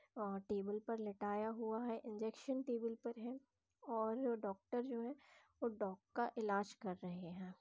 और टेबल पर लेटाया हुआ है इंजेक्शन टेबल पर है और डॉक्टर जो है वो डॉग का इलाज कर रहे हैं।